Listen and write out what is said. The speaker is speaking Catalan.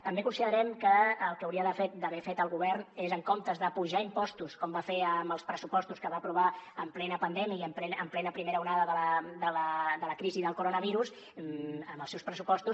també considerem que el que hauria d’haver fet el govern és en comptes d’apujar impostos com va fer amb els pressupostos que va aprovar en plena pandèmia i en plena primera onada de la crisi del coronavirus amb els seus pressupostos